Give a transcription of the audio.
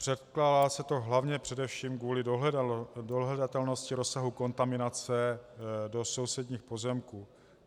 Předkládá se to hlavně především kvůli dohledatelnosti rozsahu kontaminace do sousedních pozemků.